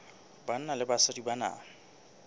banna le basadi ba na